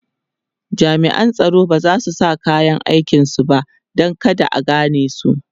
jami'an tsaron bazasu sa kayan aikin su ba Dan kada a ganesu